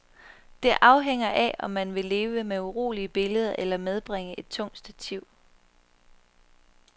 Det afhænger af om man vil leve med urolige billeder eller medbringe et tungt stativ.